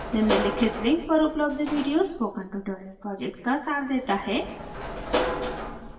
निम्नलिखित link पर उपलब्ध video spoken tutorial project का सार देता है